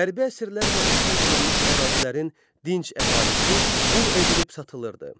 Hərbi əsirlər və işğal olunmuş ərazilərin dinc əhalisi qul edilib satılırdı.